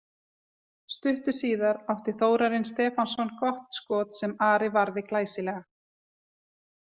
Stuttu síðar átti Þórarinn Stefánsson gott skot sem Ari varði glæsilega.